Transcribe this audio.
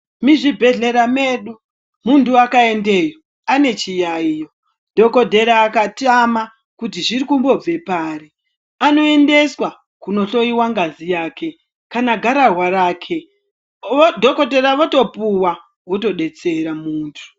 Muzvibhedhleya medu muntu akaendeyo ane chiyaiyo dhokodheya akatama kuti zviri kumbobve pari anoendeswa kunohloyiwa ngazi yake kana gararwa rake dhokodheya votopuwa votodetsera muntu.